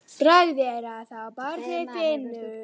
Bragð er að þá barnið finnur!